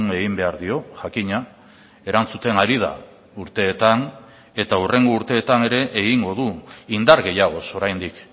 egin behar dio jakina erantzuten ari da urteetan eta hurrengo urteetan ere egingo du indar gehiagoz oraindik